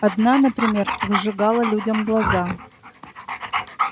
одна например выжигала людям глаза